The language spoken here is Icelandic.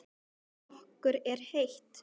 Okkur er heitt.